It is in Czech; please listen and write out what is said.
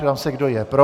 Ptám se, kdo je pro.